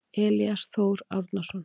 Elías Þór Árnason.